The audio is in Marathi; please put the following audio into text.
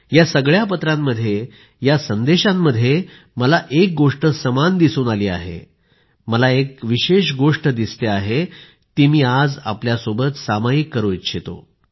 या सगळ्या पत्रांमध्ये या संदेशांमध्ये मला एक गोष्ट समान दिसून आली आहे मला एक विशेष गोष्ट दिसते आहे ती मी आज आपल्यासोबत सामायिक करू इच्छितो